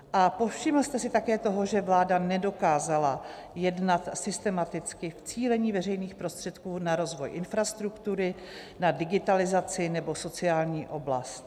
A povšiml jste se také toho, že vláda nedokázala jednat systematicky v cílení veřejných prostředků na rozvoj infrastruktury, na digitalizaci nebo sociální oblast?